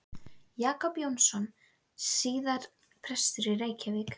Jakob Jónsson, síðar prestur í Reykjavík.